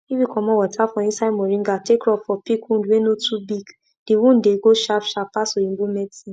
dem talk say if you say if you pour palm wine for fresh ground spirit go bless you before you plant beans.